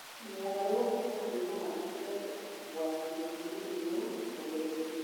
Mogarũrũku macio no matũme ũgwati wa mĩrimũ wongerereke